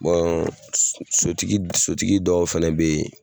sotigi sotigi dɔw fɛnɛ bɛ yen